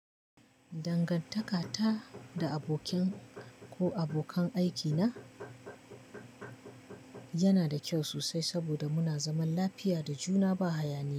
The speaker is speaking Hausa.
Dangantaka ta da abokin ko abokan aikina yana da kyau sosai saboda muna zaman lafiya da juna ba haya ne ba.